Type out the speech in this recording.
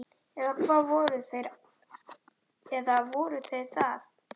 Eða voru þeir það?